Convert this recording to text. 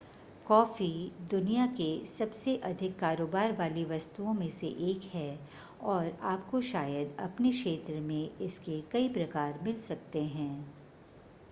coffee दुनिया के सबसे अधिक कारोबार वाली वस्तुओं में से एक है और आपको शायद अपने क्षेत्र में इसके कई प्रकार मिल सकते हैं